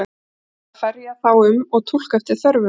Ég tók að mér að ferja þá um og túlka eftir þörfum.